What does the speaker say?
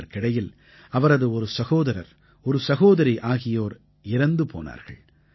இதற்கிடையில் அவரது ஒரு சகோதரர் ஒரு சகோதரி ஆகியோர் இறந்து போனார்கள்